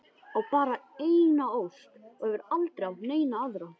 Á bara eina ósk og hefur aldrei átt neina aðra.